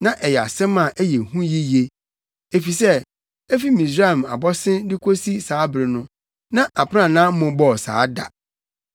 Na ɛyɛ asɛm a ɛyɛ hu yiye. Efisɛ efi Misraim abɔse de kosi saa bere no, na aprannaa mmobɔɔ saa da.